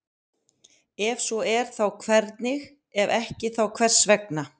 Ef svo er þá hvernig, ef ekki þá hvers vegna?